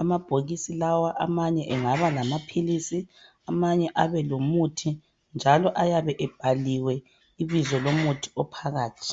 Amabhokisi lawa amanye engabala maphilisi, amanye abe lomuthi njalo ayabe ebhaliwe ibizo lomuthi ophakathi.